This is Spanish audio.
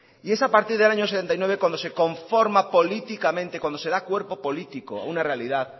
y es a partir del año mil novecientos setenta y nueve cuando de conforma políticamente cuando se da cuerpo político a una realidad